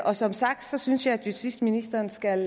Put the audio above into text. og som sagt synes jeg at justitsministeren skal